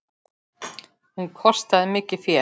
Hún kostaði mikið fé.